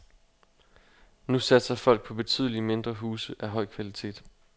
Nu satser folk på betydeligt mindre huse af høj kvalitet.